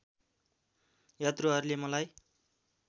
यात्रुहरूले मलाई